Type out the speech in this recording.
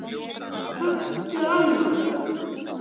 Kanntu annan?